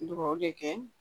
Dugawu de kɛ